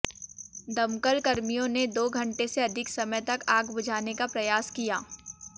दमकलकर्मियों ने दो घंटे से अधिक समय तक आग बुझाने का प्रयास किया